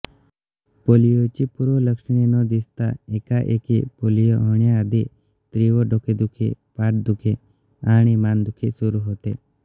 पोलिओची पूर्वलक्षणे न दिसता एकाएकी पोलिओ होण्याआधी तीव्र डोकेदुखी पाठदुखी आणि मानदुखी सुरू होते